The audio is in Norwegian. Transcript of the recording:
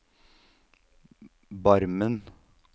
Barmen